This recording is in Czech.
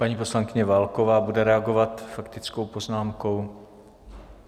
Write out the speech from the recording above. Paní poslankyně Válková bude reagovat faktickou poznámkou.